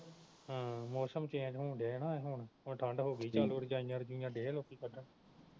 ਹਮ ਮੌਸਮ ਹੋਣ ਦਿਆਂ ਨਾ ਹੁਣ ਹੁਣ ਠੰਡ ਹੋ ਗਈ ਵੀ ਰਜਾਈਆ ਰਜੁਈਆਂ ਦਏ ਆ ਲੋਕੀ ਕੱਢਣ